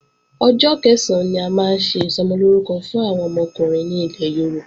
Ọjọ́ Kẹ̀sán la máa ń ṣe Ìsọmọlórúkọ fún àwọn ọmọkùnrin ní ilẹ̀ Yorùbá